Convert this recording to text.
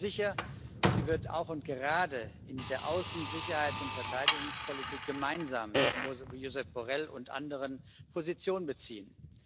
Ich bin sicher, sie wird auch und gerade in der Außen Sicherheits und Verteidigungspolitik gemeinsam mit Josep Borrell und anderen Position beziehen.